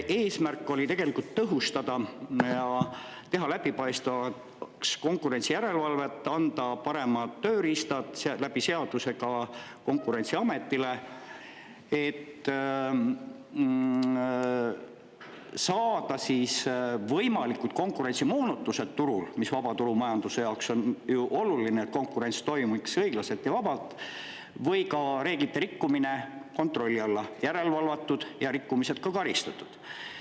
Eesmärk oli tõhustada ja teha läbipaistvamaks konkurentsijärelevalvet, anda seadusega paremad tööriistad ka Konkurentsiametile, et saada võimalikud konkurentsimoonutused turul – vaba turumajanduse jaoks on ju oluline, et konkurents toimiks õiglaselt ja vabalt – või ka reeglite rikkumine kontrolli alla, järelevalvatud ja saada rikkumised ka karistatud.